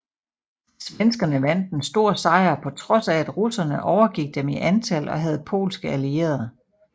Svenskerne vandt en stor sejr på trods af at russerne overgik dem i antal og havde polske allierede